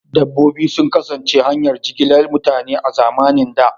Dabbobi sun kasance hanyar jigilar mutane a zamanin da.